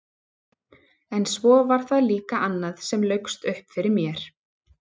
En svo var það líka annað sem laukst upp fyrir mér.